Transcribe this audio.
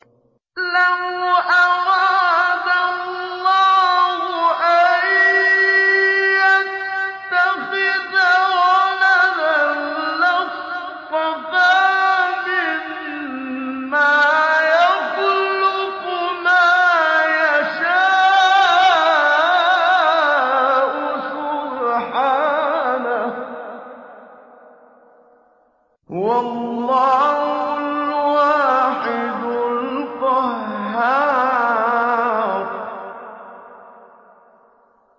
لَّوْ أَرَادَ اللَّهُ أَن يَتَّخِذَ وَلَدًا لَّاصْطَفَىٰ مِمَّا يَخْلُقُ مَا يَشَاءُ ۚ سُبْحَانَهُ ۖ هُوَ اللَّهُ الْوَاحِدُ الْقَهَّارُ